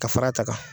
Ka fara a ta kan